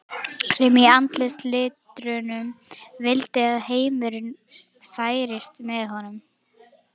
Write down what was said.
sem í andarslitrunum vildi að heimurinn færist með honum.